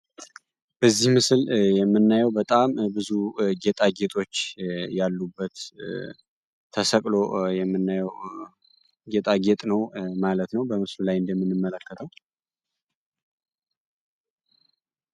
በዚህ ምስል የምናየው በጣም ብዙ ጌጣጌጦች ያሉበት ተሰቅሎ የምናየው ጌጣጌጥ ነው ማለት ነው በምስሉ ላይ እንደምንመለከተው።